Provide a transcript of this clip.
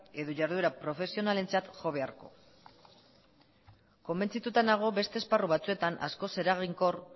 edo jarduera profesionalentzat jo beharko konbentzituta nago beste esparru batzuetan askoz eraginkor